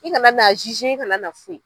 I kana na a i kana na foyi